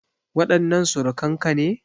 Waɗannan surukan ka ne?